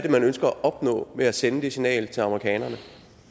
man ønsker at opnå ved at sende det signal til amerikanerne